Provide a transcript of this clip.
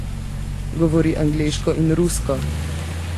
Govori angleško in rusko.